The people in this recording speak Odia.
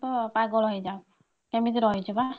ତ ପାଗଳ ହେଇଯାଉ କେମିତି ରହିଛୁ ବା?